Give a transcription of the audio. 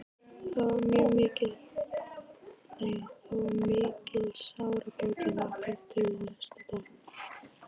Og það var mikil sárabót að hlakka til næsta dags.